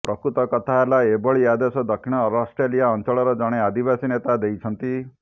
ପ୍ରକୃତ କଥା ହେଲା ଏଭଳି ଆଦେଶ ଦକ୍ଷିଣ ଅଷ୍ଟ୍ରେଲିଆ ଅଞ୍ଚଳର ଜଣେ ଆଦିବାସୀ ନେତା ଦେଇଛନ୍ତି